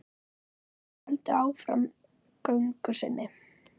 Þeir héldu áfram göngu sinni.